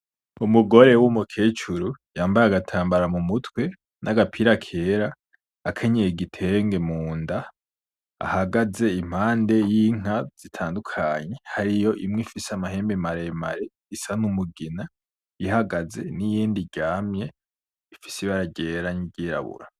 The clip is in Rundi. Umugore w’umukecuru yambaye agatambara mu mutwe n’agapira kera, akenyeye igitenge munda. ahagaze impande y’inka zitandukanye, hariyo imwe ifise amahembe maremare isa n’umugina ihagaze n’iyindi iryamye ifise ibara ryera n’iryirabura.